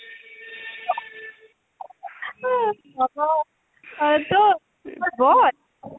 হয়তো বল,